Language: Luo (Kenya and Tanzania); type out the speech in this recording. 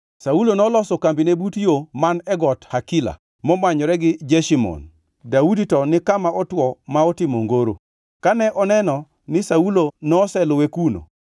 Saulo noloso kambine but yo man e got Hakila momanyore gi Jeshimon, Daudi to ni kama otwo ma otimo ongoro. Kane oneno ni Saulo noseluwe kuno,